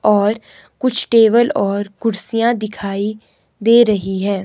और कुछ टेबल और कुर्सियां दिखाई दे रही हैं।